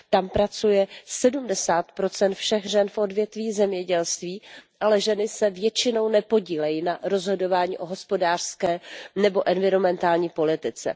Tam pracuje 70 všech žen v odvětví zemědělství, ale ženy se většinou nepodílejí na rozhodování o hospodářské nebo environmentální politice.